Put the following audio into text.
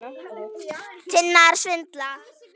Það er ekki útskýrt frekar.